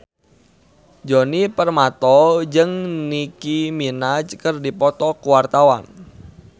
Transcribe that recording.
Djoni Permato jeung Nicky Minaj keur dipoto ku wartawan